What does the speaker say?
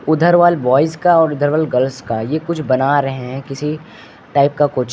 उधर wall boys का और इधर वॉल गर्ल्स का। ये कुछ बना रहे हैं किसी टाइप का कुछ।